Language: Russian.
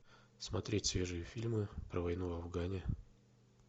смотреть свежие фильмы про войну в афгане